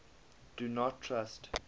do not trust